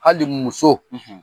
Hali muso, .